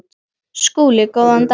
SKÚLI: Góðan daginn!